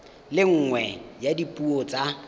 le nngwe ya dipuo tsa